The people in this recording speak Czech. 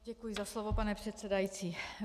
Děkuji za slovo, pane předsedající.